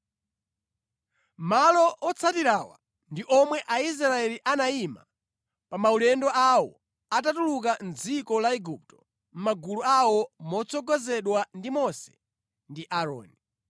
Malo otsatirawa ndi omwe Aisraeli anayima pa maulendo awo atatuluka mʼdziko la Igupto mʼmagulu awo motsogozedwa ndi Mose ndi Aaroni.